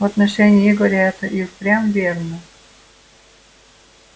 в отношении игоря это и впрямь верно